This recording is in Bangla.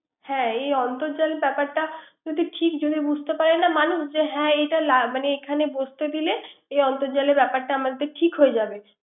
হ্যা এই অর্ন্তজান এর ব্যাপারটা যদি ঠিকভাবে বুঝতে পারে না মানুষ যে হ্যা এটা এখানে বসতে দিলে এ অর্ন্তজালের ব্যাপারটা আমাদের ঠিক হয়ে যাবে।